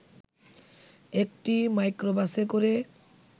একটি মাইক্রোবাসে করে